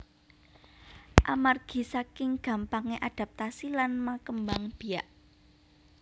Amargi saking gampangé adaptasi lan makembang biak